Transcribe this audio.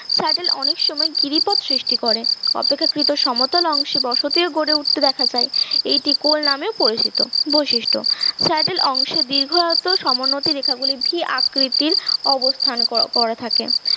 saddle অনেক সময় গিরিপথ সৃষ্টি করে অপেক্ষাকৃত সমতল অংশে বসতিও গড়ে উঠতে দেখা যায় এটি কোল নামেও পরিচিত বৈশিষ্ট্য স্যাডেল অংশে দীর্ঘ আয়ত্ত সমোন্নতি রেখা গুলি ভি আকৃতির অবস্থান কর করে থাকে